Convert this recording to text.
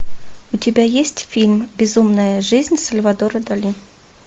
у тебя есть фильм безумная жизнь сальвадора дали